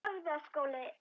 Nei, þú hér?